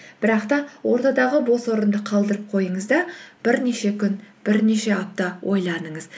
бірақ та ортадағы бос орынды қалдырып қойыңыз да бірнеше күн бірнеше апта ойланыңыз